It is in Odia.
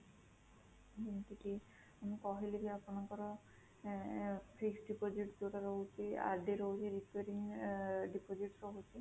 ଯେମିତି କି ମୁଁ କହିଲି କି ଆପଣଙ୍କର ଆଁ fixed deposit ଯୋଉଟା ରହୁଛି RD ରହୁଛି, requiring ଆଁ deposit ରହୁଛି